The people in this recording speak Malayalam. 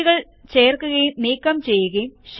ഷീറ്റുകൾ ചേർക്കുകയും നീക്കം ചെയ്യുകയും